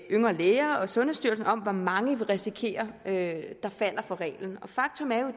yngre læger og sundhedsstyrelsen om hvor mange der vil risikere at falde for reglen faktum er jo